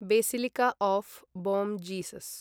basilica of Bom Jesus